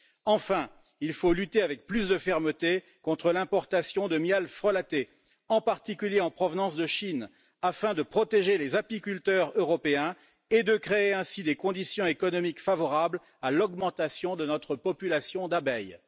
Enfin, il faut lutter avec plus de fermeté contre l'importation de miel frelaté, en particulier en provenance de Chine, afin de protéger les apiculteurs européens et de créer ainsi des conditions économiques favorables à l'accroissement de notre population d'abeilles.